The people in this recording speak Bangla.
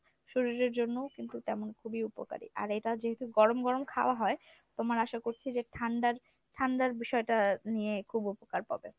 শরীরের জন্যও কিন্তু তেমন খুবই উপকারি। আর এটা যেহেতু গরম গরম খাওয়া হয় তোমার আশা করছি যে ঠান্ডার ঠান্ডার বিষয়টা নিয়ে খুব উপকার পাবে।